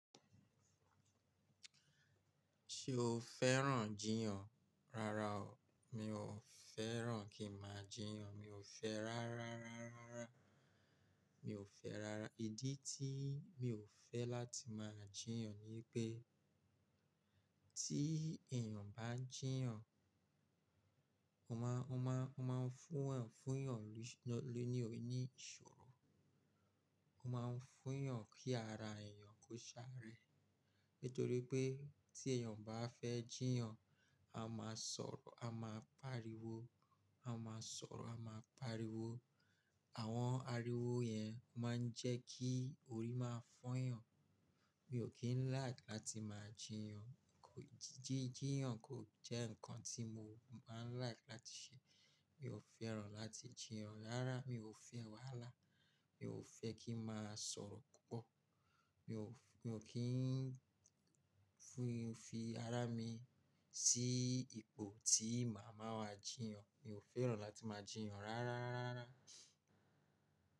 Ṣé o fẹ́ràn jiyàn? Rárá o, mi ò fẹ́ràn kí má jiyàn. Mi ò fẹ́ rárá, rárá, rárá. Mi ò fẹ́ rárá. Ìdí tí mi ò fẹ́ láti máa jiyàn ni pé tí èèyàn bá ń jiyàn, ó ma, ó ma, ó ma fún yàn, fún yàn ni, lónìí òní ìṣòro. Ó ma ń fún yàn kí ara èèyàn kó ṣáré. Nítorí pé tí èèyàn bá fẹ́ jiyàn, a máa sọ̀rọ̀, a máa pariwo, a máa sọ̀rọ̀, a máa pariwo. Àwọn ariwo yẹn máa ń jẹ́ kí orí máa fọ́yàn. Mi ò kíń like láti máa jiyàn. Kò ji, jí, jiyàn kò jẹ́ nǹkan tí mo máa ń like láti ṣe. Mi ò fẹ́ràn láti jiyàn rárá. Mi ò fẹ́ wàhálà. Mi ò fẹ́ kí máa sọ̀rọ̀ púpọ̀. Mi ò, mi ò kíń fi ara mi sí ipò tí màá máa jiyàn. Mi ò fẹ́ràn láti máa jiyàn rárá, rárá, rárá.